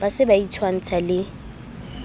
ba se ba itshwantsha le